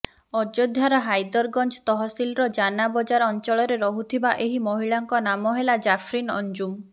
ଅଯୋଧ୍ୟାର ହାଇଦରଗଂଜ ତହସିଲର ଜାନା ବଜାର ଅଞ୍ଚଳରେ ରହୁଥିବା ଏହି ମହିଳାଙ୍କ ନାମ ହେଲା ଜାଫ୍ରିନ ଅଂଜୁମ